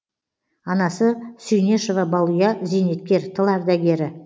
анасы сүйнешова балұя зейнеткер тыл ардагері